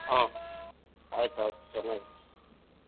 ಹ್ಮ್ ಆಯ್ತ್ ಆಯ್ತ್ .